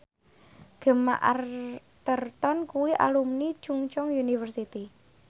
Gemma Arterton kuwi alumni Chungceong University